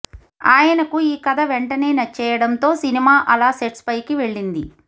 ఆయనకు ఈ కథ వెంటనే నచ్చేయడంతో సినిమా అలా సెట్స్పైకి వెళ్ళింది